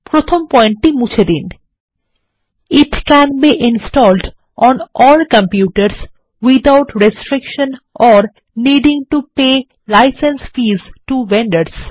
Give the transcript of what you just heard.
প্রথম পয়েন্টটি মুছে দিন it can be installed on all কম্পিউটারসহ without restriction or needing to pay licence fees to vendors